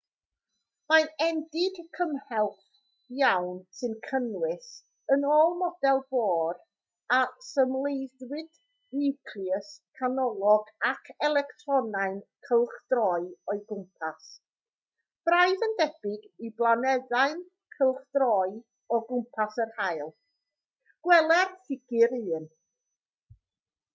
mae'n endid cymhleth iawn sy'n cynnwys yn ôl model bohr a symleiddiwyd niwclews canolog ag electronau'n cylchdroi o'i gwmpas braidd yn debyg i blanedau'n cylchdroi o gwmpas yr haul gweler ffigur 1